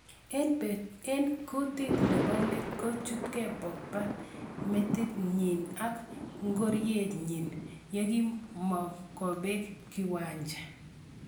Eng kutet nepo let, kituchke Pogba metit nyin ak ngoriet nyin yekimongubeng kiwanja.